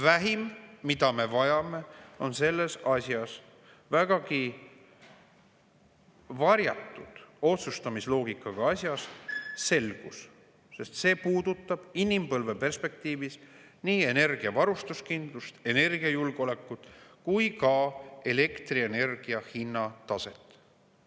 Vähim, mida me vajame selles vägagi varjatud otsustamisloogikaga asjas, on selgus, sest see puudutab inimpõlve perspektiivis nii energiavarustuskindlust, energiajulgeolekut kui ka elektrienergia hinna taset.